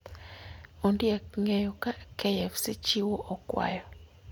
Ondiek ng'eyo ka KFC chiwo okwayo